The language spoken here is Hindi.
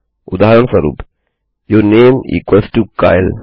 उदाहरणस्वरूप your name equals to Kyle